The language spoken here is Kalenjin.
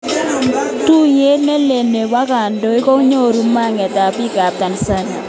Tuyet nelel nepo kandoik kongoru maget ab biik ab Tanzania.